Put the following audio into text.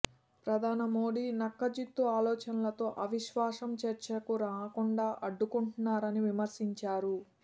ప్రధాని మోదీ నక్కజిత్తు ఆలోచనలతో అవిశ్వాసం చర్చకు రాకుండా అడ్డుకుంటున్నారని విమర్శించారు